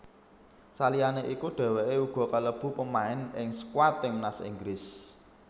Saliyane iku dheweke uga kalebu pamain ing skuad timnas Inggris